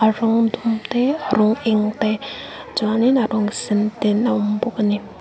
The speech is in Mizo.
a rawng dum te a rawng te chuanin a rawng sen ten a awm bawk ani.